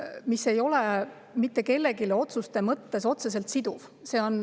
Selle ei ole mitte kellelegi otseselt siduvad.